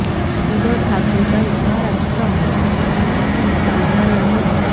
ઉદ્ધવ ઠાકરે સહિત મહારાષ્ટ્રમાં ભાજપી નેતાઓને મળ્યા મોદી